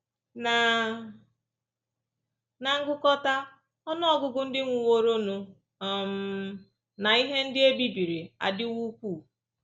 Ná Ná ngụkọta, ọnụ ọgụgụ ndị nwụworonụ um na ihe ndị e bibiri adịwo ukwuu.